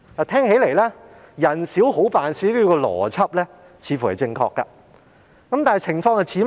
聽起來，"人少好辦事"這邏輯似乎正確，但這情況像甚麼呢？